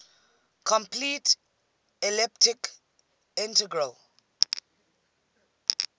complete elliptic integral